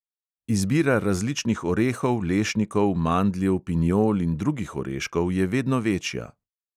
Izbira različnih orehov, lešnikov, mandljev, pinjol in drugih oreškov je vedno večja.